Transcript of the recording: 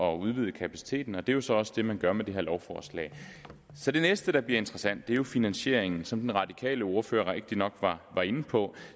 at udvide kapaciteten og det er jo så også det man gør med det her lovforslag så det næste der bliver interessant er jo finansieringen som den radikale ordfører rigtigt nok var var inde på